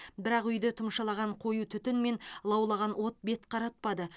бірақ үйді тұмшалаған қою түтін мен лаулаған от бет қаратпады